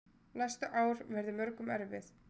Næstu ár verði mörgum erfið.